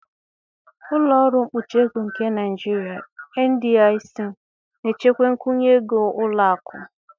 Ụlọ ọrụ mkpuchi ego nke Naijiria (NDIC) na-echekwa nkwụnye ego ụlọ akụ.